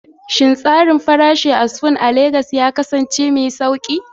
Shin tsarin farashi a Spoon It a Legas ya kasance mai sauƙi?